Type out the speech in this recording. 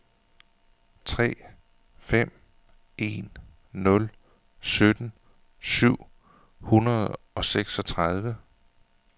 tre fem en nul sytten syv hundrede og seksogtredive